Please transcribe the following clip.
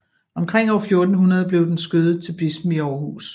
Omkring år 1400 blev den skødet til bispen i Århus